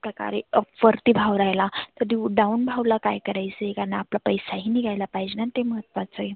प्रकारे अप वरती भाव राहिला तर down भागला काय करायच कारण आपला पैसा ही निघाय पाहिजेना ते महत्वाच आहे.